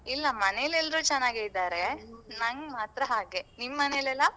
ಇಲ್ಲ, ಮನೆಲೆಲ್ರೂ ಚೆನ್ನಾಗೇ ಇದ್ದಾರೆ. ನಂಗ್ ಮಾತ್ರ ಹಾಗೆ. ನಿಮ್ ಮನೆಲೆಲ್ಲ?